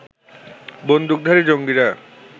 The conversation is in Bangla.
বন্দুকধারী জঙ্গিরা